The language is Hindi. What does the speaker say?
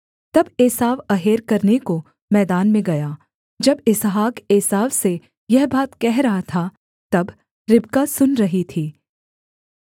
तब एसाव अहेर करने को मैदान में गया जब इसहाक एसाव से यह बात कह रहा था तब रिबका सुन रही थी